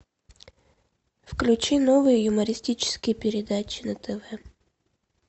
включи новые юмористические передачи на тв